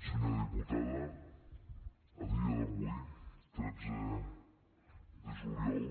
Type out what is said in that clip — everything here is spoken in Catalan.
senyora diputada a dia d’avui tretze de juliol